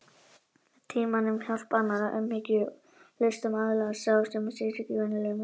Með tímanum, hjálp annarra, umhyggju og hlustun aðlagast sá sem syrgir venjulega missinum.